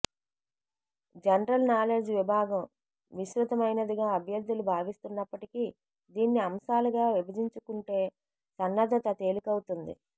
general knowledge విభాగం విస్తృతమైనదిగా అభ్యర్థులు భావిస్తున్నప్పటికీ దీన్ని అంశాలుగా విభజించుకుంటే సన్నద్ధత తేలికవుతుంది